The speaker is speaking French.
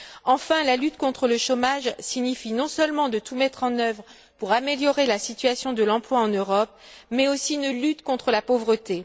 Enfin, la lutte contre le chômage consiste non seulement à tout mettre en œuvre pour améliorer la situation de l'emploi en Europe, mais aussi à lutter contre la pauvreté.